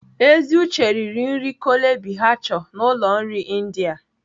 Eziuche riri nri Chole bhature na ụlọ nri India.